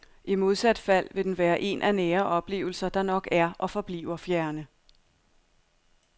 I modsat fald vil den være en af nære oplevelser, der nok er og forbliver fjerne.